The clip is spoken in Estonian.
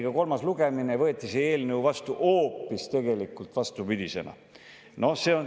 Tehti kolmas lugemine ja võeti see eelnõu vastu hoopis vastupidisena.